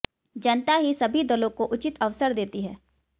जनता ही सभी दलों को उचित अवसर देती है